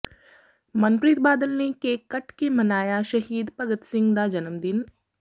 ਮਨਪ੍ਰੀਤ ਬਾਦਲ ਨੇ ਕੇਕ ਕੱਟ ਕੇ ਮਨਾਇਆ ਸ਼ਹੀਦ ਭਗਤ ਸਿੰਘ ਦਾ ਜਨਮਦਿਨ